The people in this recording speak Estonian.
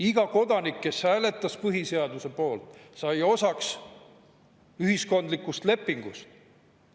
Iga kodanik, kes hääletas põhiseaduse poolt, sai osaks ühiskondlikust lepingust.